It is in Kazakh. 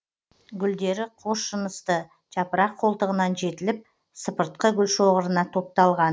гүлдері қос жынысты жапырақ қолтығынан жетіліп сыпыртқы гүлшоғырына топталған